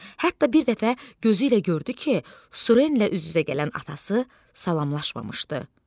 Hətta bir dəfə gözü ilə gördü ki, Surenlə üz-üzə gələn atası salamlaşmamışdı.